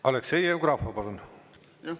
Aleksei Jevgrafov, palun!